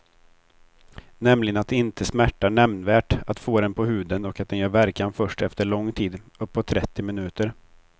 Nämligen att det inte smärtar nämnvärt att få den på huden och att den gör verkan först efter lång tid, uppåt trettio minuter.